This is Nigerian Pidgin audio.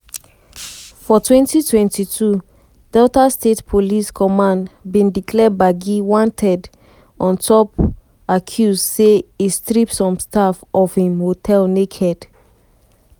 for 2022 delta state police command bin declare gbagi wanted wanted on top accuse say e strip some staff of im hotel naked.